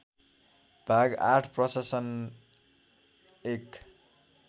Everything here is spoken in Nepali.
भाग ८ प्रशासन १